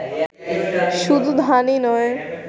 শুধু ধানই নই